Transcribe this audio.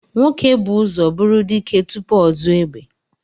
Nwoke bú ụzọ bụrụ dike tupu ọ zụọ egbe